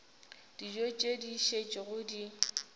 dijo tše di šetšego di